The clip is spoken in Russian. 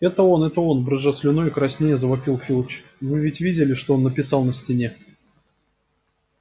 это он это он брызжа слюной и краснея завопил филч вы ведь видели что он написал на стене